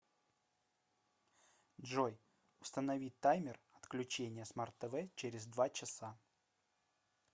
джой установи таймер отключения смарт тв через два часа